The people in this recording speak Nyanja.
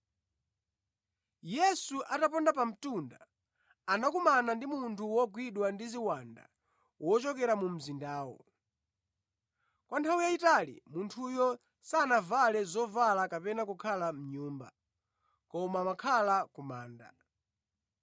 Yesu ataponda pa mtunda, anakumana ndi munthu wogwidwa ndi ziwanda wochokera mu mzindawo. Kwa nthawi yayitali munthuyu sanavale zovala kapena kukhala mʼnyumba, koma amakhala ku manda.